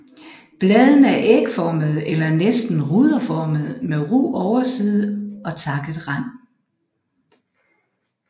Bladene er ægformede eller næsten ruderformede med ru overside og takket rand